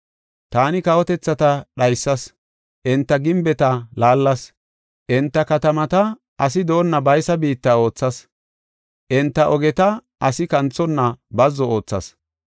“Taani kawotethata dhaysas; enta gimbeta laallas. Enta katamata issi doonna baysa biitta oothas; enta ogeta asi kanthonna bazzo oothas.